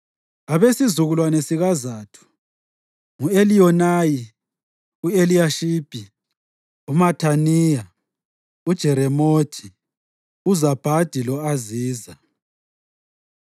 Abesizukulwane sikaZathu: ngu-Eliyonayi, u-Eliyashibi, uMathaniya, uJeremothi, uZabhadi lo-Aziza.